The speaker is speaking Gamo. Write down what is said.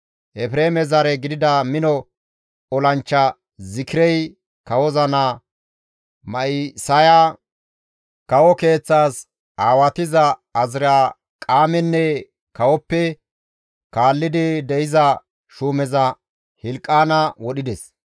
Efreeme zare gidida mino olanchcha Zikirey kawoza naa Ma7isaya, kawo keeththas aawatiza Azirqaamenne kawoppe kaalli de7iza shuumeza Hilqaana wodhides.